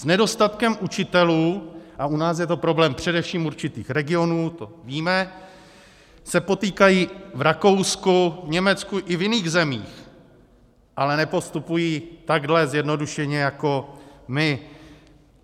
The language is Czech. S nedostatkem učitelů, a u nás je to problém především určitých regionů, to víme, se potýkají v Rakousku, v Německu i v jiných zemích, ale nepostupují takhle zjednodušeně jako my.